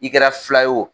I kɛra fila ye o